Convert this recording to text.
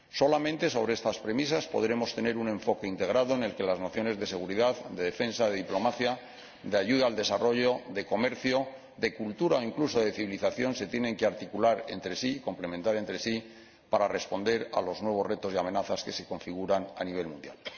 Solamente sobre estas premisas podremos tener un enfoque integrado en el que las nociones de seguridad, de defensa, de diplomacia, de ayuda al desarrollo, de comercio, de cultura o incluso de civilización se articulen entre sí, se complementen entre sí, para responder a los nuevos retos y amenazas que se configuran a nivel mundial.